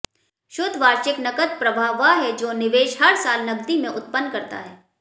शुद्ध वार्षिक नकद प्रवाह वह है जो निवेश हर साल नकदी में उत्पन्न करता है